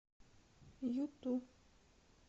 юту